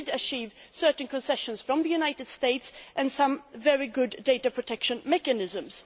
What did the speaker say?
We did achieve certain concessions from the United States and some very good data protection mechanisms.